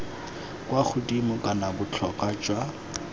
kwa godimo kana botlhokwa jwa